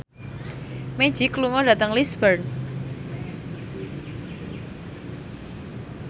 Magic lunga dhateng Lisburn